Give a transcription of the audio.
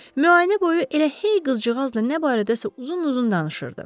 Müayinə boyu elə hey qızcığazla nə barədəsə uzun-uzun danışırdı.